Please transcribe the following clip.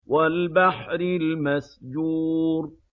وَالْبَحْرِ الْمَسْجُورِ